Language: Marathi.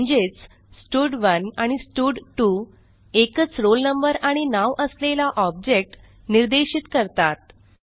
म्हणजेच स्टड1 आणि स्टड2 एकच रोल नंबर आणि नाव असलेला ऑब्जेक्ट निर्देशित करतात